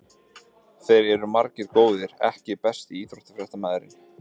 Þeir eru margir góðir EKKI besti íþróttafréttamaðurinn?